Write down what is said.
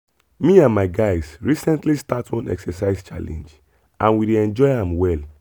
me and my guys recently start one exercise challenge and we dey enjoy am well.